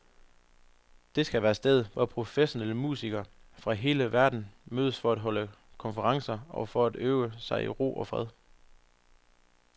Det skal være stedet, hvor professionelle musikere fra hele verden mødes for at holde konferencer og for at øve sig i ro og fred.